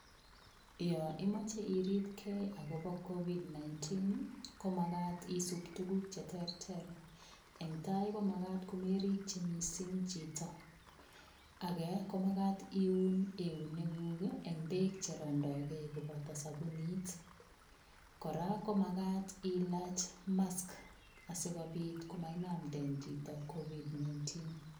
Yo imoche iripke agobo kovid 19, komagat isub tuguk che terter. Eng tai ko magat komerikyi mising chito. Age komagat iun euneguk eng beek cherondogei koboto sapunit. Kora komagat ilach mask, asigopit komainamnde chito kovid 19.